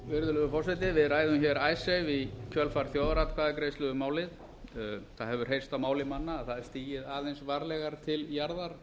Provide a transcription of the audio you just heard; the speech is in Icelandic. virðulegur forseti við ræðum icesave í kjölfar þjóðaratkvæðagreiðslu um málið það hefur heyrst á máli manna að það er stigið aðeins varlegar til jarðar